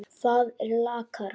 Það er lakara.